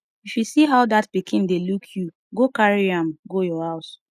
if you see how dat pikin dey look you go carry am go your house.